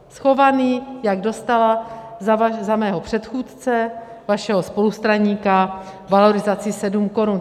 Schovaný, jak dostala za mého předchůdce, vašeho spolustraníka, valorizaci 7 korun.